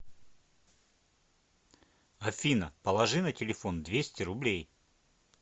афина положи на телефон двести рублей